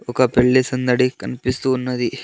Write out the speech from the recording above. ఒక పెళ్లి సందడి కనిపిస్తూ ఉన్నది.